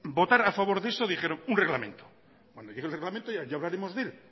votar a favor de eso dijeron un reglamento cuando llegue el reglamento ya hablaremos de él